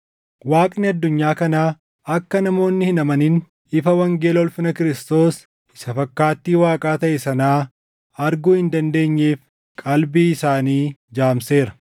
Waaqni addunyaa kanaa akka namoonni hin amanin ifa wangeela ulfina Kiristoos isa fakkaattii Waaqaa taʼe sanaa arguu hin dandeenyeef qalbii isaanii jaamseera.